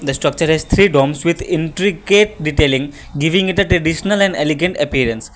the structure is three doms with intricate detailing giving at a traditional and elegant appearance.